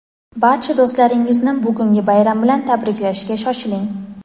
barcha do‘stlaringizni bugungi bayram bilan tabriklashga shoshiling.